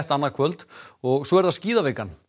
annað kvöld og svo er það skíðavikan